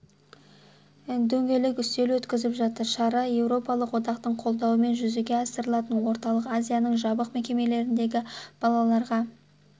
дөңгелек үстел өткізіп жатыр шара еуропалық одақтың қолдауымен жүзеге асырылатын орталық азияның жабық мекемелеріндегі балаларға